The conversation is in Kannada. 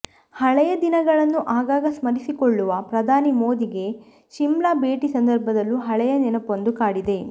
ಹಳೆಯ ದಿನಗಳನ್ನು ಆಗಾಗ ಸ್ಮರಿಸಿಕೊಳ್ಳುವ ಪ್ರಧಾನಿ ಮೋದಿಗೆ ಶಿಮ್ಲಾ ಭೇಟಿ ಸಂದರ್ಭದಲ್ಲೂ ಹಳೆಯ ನೆನಪೊಂದು ಕಾಡಿದೆ